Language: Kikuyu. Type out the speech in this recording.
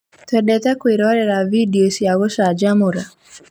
Twendete kwĩrorera bindeo cia gũcanjamũra.